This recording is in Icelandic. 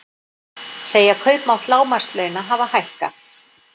Segja kaupmátt lágmarkslauna hafa hækkað